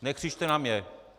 Nekřičte na mě.